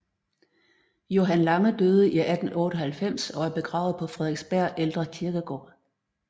Johan Lange døde i 1898 og er begravet på Frederiksberg Ældre Kirkegård